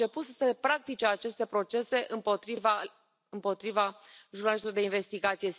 Au început să se practice aceste procese împotriva jurnalistului de investigație.